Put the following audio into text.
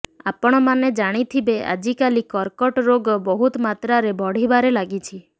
ଆପଣମାନେ ଜାଣିଥିବେ ଆଜିକାଲି କର୍କଟ ରୋଗ ବହୁତ ମାତ୍ରାରେ ବଢ଼ିବାରେ ଲାଗିଛି